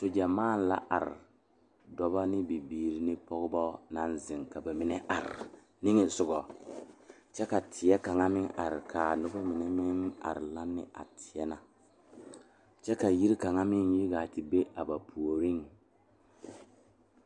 Teere mine pare la ka yiri kaŋa are a be kyɛ kaa bipole a de gangaare yeere ba kɔkɔre poɔ kyɛ kaa kaŋa seɛ kuri wogi kaa gbɛɛ e peɛrɛ peeɛ kyɛ ko'o de ba puori.